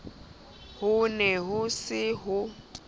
ho ne ho se ho